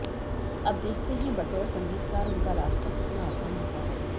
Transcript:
अब देखते है बतौर संगीतकार उनका रास्ता कितना आसान होता है